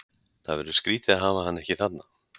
Það verður skrítið að hafa hann ekki þarna.